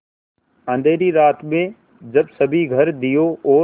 अँधेरी रात में जब सभी घर दियों और